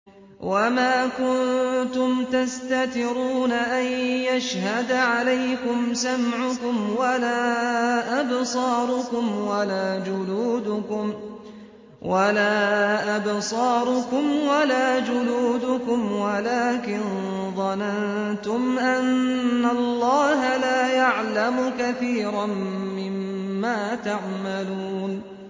وَمَا كُنتُمْ تَسْتَتِرُونَ أَن يَشْهَدَ عَلَيْكُمْ سَمْعُكُمْ وَلَا أَبْصَارُكُمْ وَلَا جُلُودُكُمْ وَلَٰكِن ظَنَنتُمْ أَنَّ اللَّهَ لَا يَعْلَمُ كَثِيرًا مِّمَّا تَعْمَلُونَ